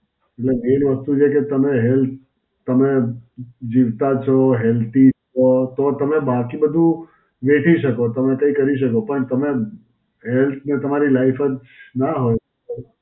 મતલબ મેઇન વસ્તુ છે કે તમે health, તમે જીવતા છો, healthy છો, તો તમે બાકી બધુ વેઠી શકો. તમે કઈ કરી શકો. પણ તમે health ને તમારી life જ નાં હોય તો.